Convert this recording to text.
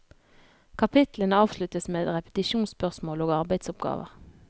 Kapitlene avsluttes med repetisjonsspørsmål og arbeidsoppgaver.